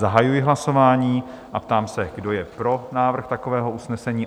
Zahajuji hlasování a ptám se, kdo je pro návrh takového usnesení?